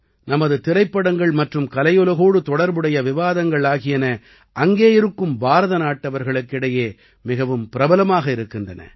நமது திரைப்படங்கள் மற்றும் கலையுலகோடு தொடர்புடைய விவாதங்கள் ஆகியன அங்கே இருக்கும் பாரதநாட்டவர்களுக்கு இடையே மிகவும் பிரபலமாக இருக்கின்றன